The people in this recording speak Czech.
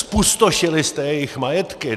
Zpustošili jste jejich majetky.